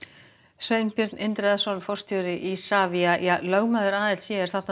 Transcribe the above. Sveinbjörn Indriðason forstjóri Isavia lögmaður